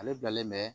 Ale bilalen bɛ